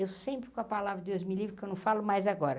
Eu sempre com a palavra Deus Me Livre, que eu não falo mais agora.